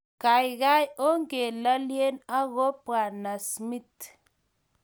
Gaigai, ongalalye ago Bw.smith